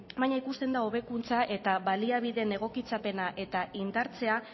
baina ikusten da hobekuntza eta baliabideen egokitzapena eta indartzea